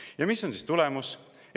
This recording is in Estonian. Ja mis on siis tulemus?